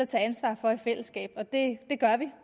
tage ansvar for i fællesskab og det gør vi